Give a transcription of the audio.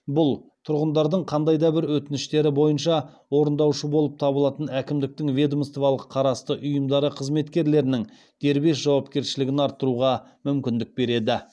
бұл тұрғындардың қандай да бір өтініштері бойынша орындаушы болып табылатын әкімдіктің ведомстволық қарасты ұйымдары қызметкерлерінің дербес жауапкершілігін арттыруға мүмкіндік береді